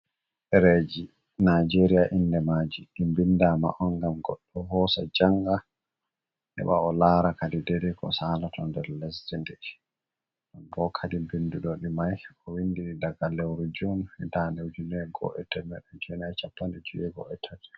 Ɗereji najeria inde maji din bindama on ngam goɗɗo hosa njanga heba o lara kadideri ko salato nder lesdi ɗen ɓo kadi bindowo mai ko windiri daga lewru jun hae 1513.